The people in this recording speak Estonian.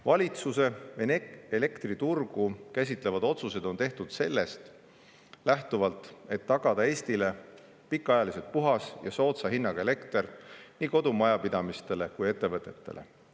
" Valitsuse elektriturgu käsitlevad otsused on tehtud sellest lähtuvalt, et tagada Eestile pikaajaliselt puhas ja soodsa hinnaga elekter nii kodumajapidamistele kui ka ettevõtetele.